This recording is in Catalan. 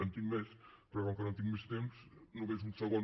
en tinc més però com que no tinc més temps només un segon